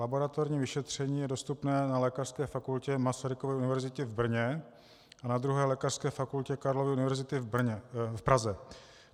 Laboratorní vyšetření je dostupné na Lékařské fakultě Masarykovy univerzity v Brně a na 2. lékařské fakultě Karlovy univerzity v Praze.